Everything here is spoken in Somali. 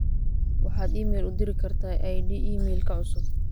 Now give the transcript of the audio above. waxaad iimayl u diri kartaa id iimaylka cusub